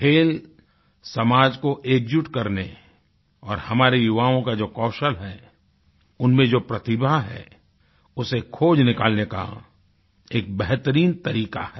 खेल समाज को एकजुट करने और हमारे युवाओं का जो कौशल हैउनमें जो प्रतिभा है उसे खोज निकालने का एक बेहरतीन तरीक़ा है